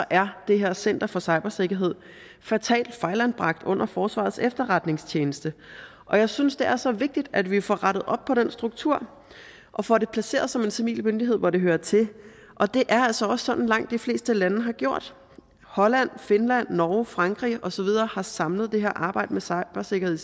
er det her center for cybersikkerhed fatalt fejlanbragt under forsvarets efterretningstjeneste og jeg synes det er så vigtigt at vi får rettet op på den struktur og får det placeret som en civil myndighed hvor det hører til og det er altså også sådan langt de fleste lande har gjort holland finland norge frankrig og så videre har samlet det her arbejde med cybersikkerhed